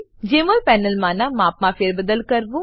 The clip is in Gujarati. જમોલ પેનલનાં માપમાં ફેરબદલ કરવું